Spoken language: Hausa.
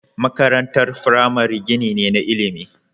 Makarantar firamare gini ne na ilimi.